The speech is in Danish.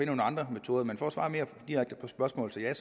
nogle andre metoder men for at svare direkte på spørgsmålet vil jeg